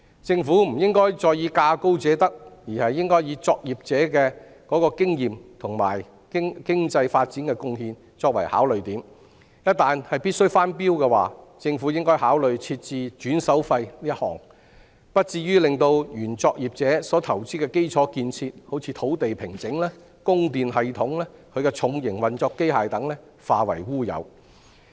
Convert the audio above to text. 政府不應再以價高者得，而應該以作業者的經驗和對經濟發展的貢獻作考慮點，一旦必須翻標，政府應該考慮訂立一項"轉手費"，而不至於令原作業者投資的基礎建設，例如土地平整、供電系統和重型運作機械等化為烏有。